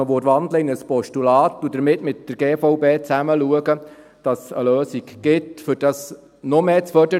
Man könnte in ein Postulat wandeln und mit der GVB eine Lösung suchen, um dies noch stärker zu fördern.